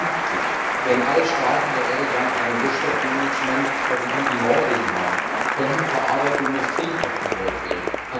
2050? Werden alle Staaten der Erde dann eine Rohstoffmanagementstrategie wie Norwegen haben? Konnten verarbeitende Industrien aufgebaut werden?